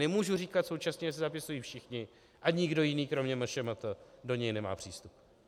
Nemůžu říkat současně, že se zapisují všichni a nikdo jiný kromě MŠMT do něj nemá přístup.